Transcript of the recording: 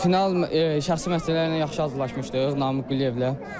Final şəxsi məşqçilərlə yaxşı hazırlaşmışdıq, Namiq Quliyevlə.